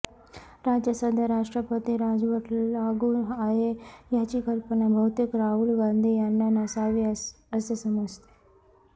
राज्यात सध्या राष्ट्रपती राजवट लागू आहे याची कल्पना बहुतेक राहुल गांधी यांना नसावी असे समजते